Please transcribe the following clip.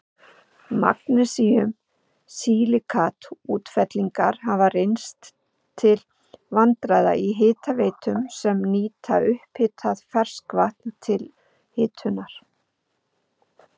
Magnesíum-silíkat-útfellingar hafa reynst til vandræða í hitaveitum sem nýta upphitað ferskvatn til hitunar.